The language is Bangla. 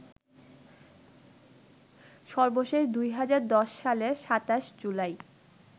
সর্বশেষ ২০১০ সালের ২৭ জুলাই